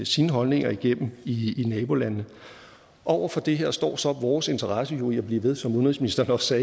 sine holdninger igennem i nabolandene over for det her står så vores interesse i at blive ved som udenrigsministeren også